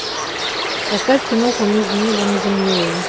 поставь киноху между небом и землей